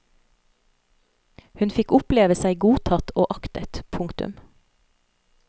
Hun fikk oppleve seg godtatt og aktet. punktum